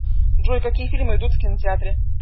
джой какие фильмы идут в кинотеатре